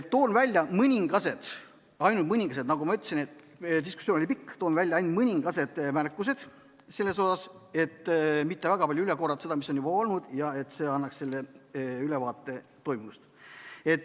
Toon välja mõningad, ainult mõningad märkused, et mitte väga palju üle korrata seda, mis on juba siin olnud, ja et anda ülevaade toimunust.